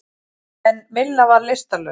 En Milla var lystarlaus.